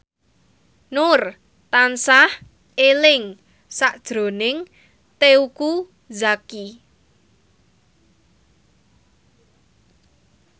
Nur tansah eling sakjroning Teuku Zacky